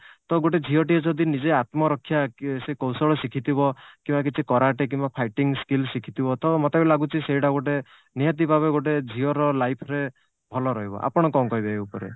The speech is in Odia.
ଟ ଗୋଟେ ଝିଅଟିଏ ଯଦି ନିଜେ ଆତ୍ମରକ୍ଷା ସିଏ କୌଶଳ ଶିଖିଥିବ କିମ୍ବା କିଛି କରାଟେ କିମ୍ବା fighting skill ଶିଖିଥିବ ମୋତେ ବି ଲାଗୁଛି ସେଇଟା ଗୋଟେ ନିହାତି ଭାବେ ଗୋଟେ ଝିଅର life ରେ ଭଲ ରହିବ ଆପଣ କଣ କହିବେ ଏଇ ଉପରେ?